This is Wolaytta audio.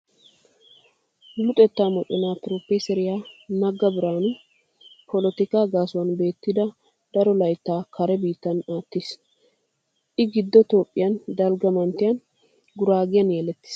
Luxettaa moconaa Piroofeeseriyaa Negga Biraanu polotikaa gaasuwan betidi daro layttaa kare biittan aattiis. I Giddo Toophphiyaa dalgga manttiyan Guraagen yelettiis.